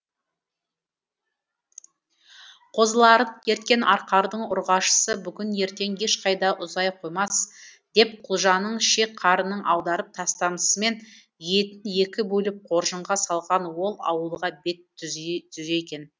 қозыларын ерткен арқардың ұрғашысы бүгін ертең ешқайда ұзай қоймас деп құлжаның шек қарынын аударып тастамысымен етін екі бөліп қоржынға салған ол ауылға бет түзеген